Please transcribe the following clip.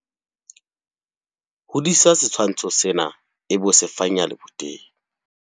Hodisa setshwantsho sena ebe o se fanyeha leboteng.